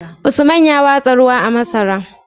Usman ya watsa ruwa a masan?